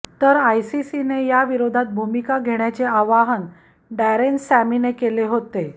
तर आयसीसीने या विरोधात भूमिका घेण्याचे आवाहन डॅरेन सॅमीने केले होते